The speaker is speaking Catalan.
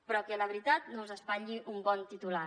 però que la veritat no us espatlli un bon titular